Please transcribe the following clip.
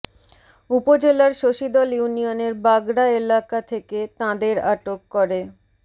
উপজেলার শশীদল ইউনিয়নের বাগড়া এলাকা থেকে তাঁদের আটক করে